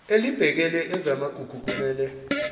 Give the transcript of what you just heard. elibhekele ezamagugu kumele